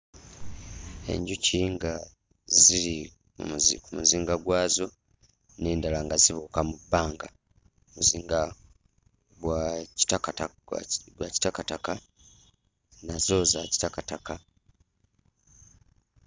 Enjuki nga ziri mu muzi mu muzinga gwazo n'endala nga zibuuka mu bbanga. Muzinga gwa kitakata gwa kitakataka, nazo za kitakataka.